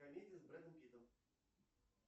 комедии с бредом питтом